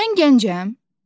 Mən gəncəm.